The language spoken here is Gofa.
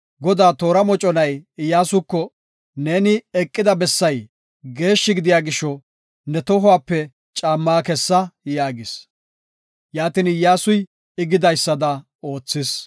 Godaa toora moconay Iyyasuko, “Neeni eqida bessay geeshshi gidiya gisho, ne tohuwape caammaa kessa” yaagis. Yaatin Iyyasuy I gidaysada oothis.